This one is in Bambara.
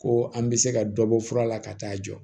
Ko an bɛ se ka dɔ bɔ fura la ka taa jɔ